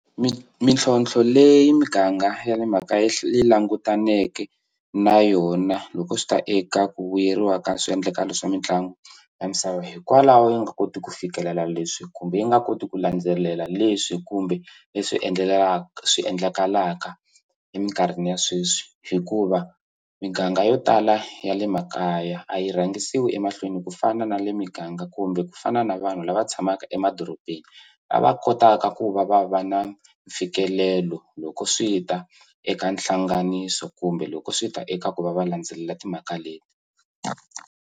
mintlhontlho leyi miganga ya le mhaka yi langutaneke na yona loko swi ta eka ku vuyeriwa ka swiendlakalo swa mitlangu ya misava hikwalaho yi nga koti ku fikelela leswi kumbe yi nga koti ku landzelela leswi kumbe leswi swi endlekalaka eminkarhini ya sweswi hikuva miganga yo tala ya le makaya a yi rhangisiwi emahlweni ku fana na le miganga kumbe ku fana na vanhu lava va tshamaka emadorobeni lava kotaka ku va va va na mfikelelo loko swi ta eka hlanganiso kumbe loko swi ta eka ku va va landzelela timhaka leti.